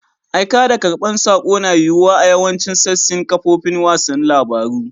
Aika da karban sako na yiwuwa a yawacin sasin kafofin wasan labaru.